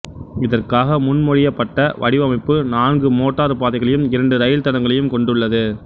இதற்காக முன்மொழியப்பட்ட வடிவமைப்பு நான்கு மோட்டார் பாதைகளையும் இரண்டு ரயில் தடங்களையும் கொண்டுள்ளது